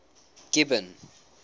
gibbon